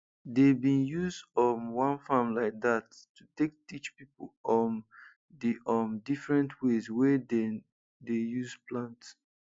dey bin use um one farm like dat to take teach pipo um d um different ways wey dem dey use plant